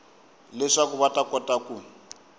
leswaku va ta kota ku